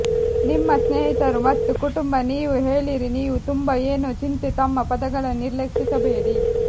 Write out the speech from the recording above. ನಿಮ್ಮ ಸ್ನೇಹಿತರು ಮತ್ತು ಕುಟುಂಬ ನೀವು ಹೇಳಿರಿ ನೀವು ತುಂಬಾ ಏನೋ ಚಿಂತೆ ತಮ್ಮ ಪದಗಳನ್ನು ನಿರ್ಲಕ್ಷಿಸಬೇಡಿ